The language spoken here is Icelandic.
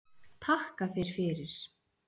Takka þér fyrir